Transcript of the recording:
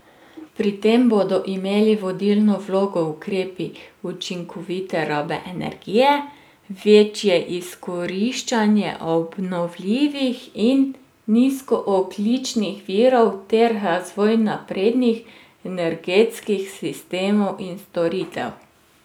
Pri tem bodo imeli vodilno vlogo ukrepi učinkovite rabe energije, večje izkoriščanje obnovljivih in nizkoogljičnih virov ter razvoj naprednih energetskih sistemov in storitev.